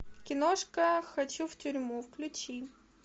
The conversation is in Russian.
киношка хочу в тюрьму включи